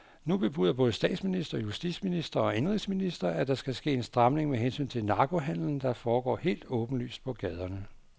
Nu bebuder både statsminister, justitsminister og indenrigsminister, at der skal ske en stramning med hensyn til narkohandelen, der foregår helt åbenlyst på gaderne.